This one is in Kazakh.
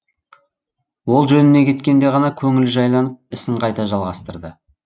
ол жөніне кеткенде ғана көңілі жайланып ісін қайта жалғастырды